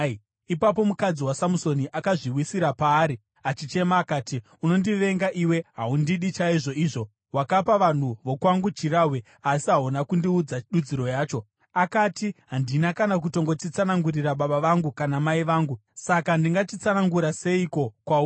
Ipapo mukadzi waSamusoni akazviwisira paari, achichema akati, “Unondivenga iwe! Haundidi chaizvo izvo. Wakapa vanhu vokwangu chirahwe, asi hauna kundiudza dudziro yacho.” Akapindura akati, “Handina kutongochitsanangurira baba vangu kana mai vangu, saka ndingachitsanangura seiko kwauri?”